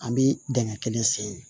An bi dingɛ kelen sen